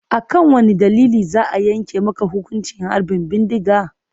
A kan wane dalili za a yanke maka hukuncin harbin bindiga?